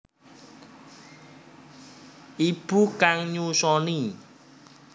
Ibu kang nyusoni